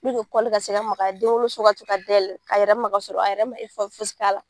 kɔli ka se ka magaya denwoloso ka se ka dayɛlɛ a yɛrɛ ma ka sɔrɔ a yɛrɛ man fosi kɛ.